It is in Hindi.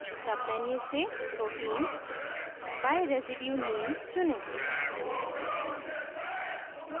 submenu से proteins by residue name चुनें